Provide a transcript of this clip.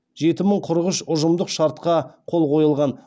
жеті мың қырық үш ұжымдық шартқа қол қойылған